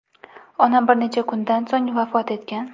Onam bir necha kundan so‘ng vafot etgan.